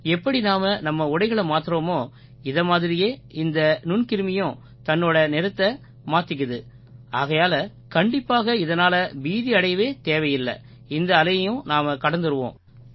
எப்படி நாம நம்ம உடைகளை மாத்தறோமோ இதை மாதிரியே இந்த நுண்கிருமியும் தன்னோட நிறத்தை மாத்திக்குது ஆகையால கண்டிப்பாக இதனால பீதியடையவே தேவையில்லை இந்த அலையையும் நாம் கடந்துருவோம்